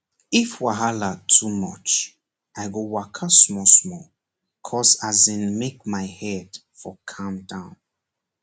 if wahala too much i go waka smallsmall coz as in make my head for calm down